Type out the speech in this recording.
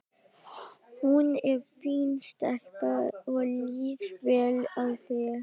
Hún er fín stelpa og líst vel á þig.